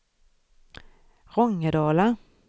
Rångedala